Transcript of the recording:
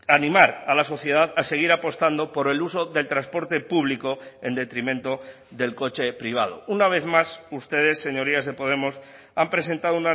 animar a la sociedad a seguir apostando por el uso del transporte público en detrimento del coche privado una vez más ustedes señorías de podemos han presentado